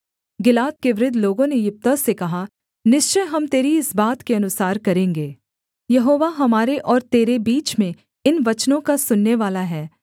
गिलाद के वृद्ध लोगों ने यिप्तह से कहा निश्चय हम तेरी इस बात के अनुसार करेंगे यहोवा हमारे और तेरे बीच में इन वचनों का सुननेवाला है